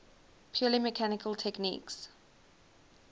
purely mechanical techniques